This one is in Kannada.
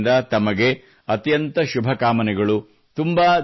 ನನ್ನ ಕಡೆಯಿಂದ ತಮಗೆ ಅತ್ಯಂತ ಶುಭಕಾಮನೆಗಳು